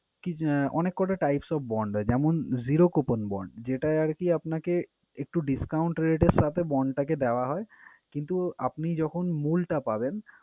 কি যে অনেক কটা types of bond হয়। যেমনঃ zero coupon bond যেটায় আরকি আপনাকে একটু discount rate এর সাথে bond টাকে দেওয়া হয় কিন্তু আপনি যখন মূলটা পাবেন